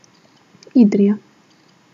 Idrija.